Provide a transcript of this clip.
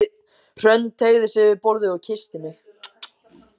Hrönn teygði sig yfir borðið og kyssti mig.